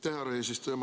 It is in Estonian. Aitäh, härra eesistuja!